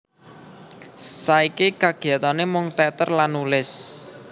Saiki kagiyatane mung teater lan nulis